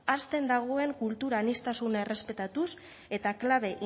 hasten dagoen kultur aniztasuna errespetatuz eta klabe